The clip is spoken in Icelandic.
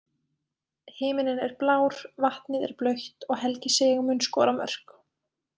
Himininn er blár, vatnið er blautt og Helgi Sig mun skora mörk.